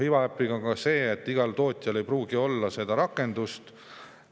Iva äpiga on ka nii, et igal tootjal ei pruugi seda rakendust olla.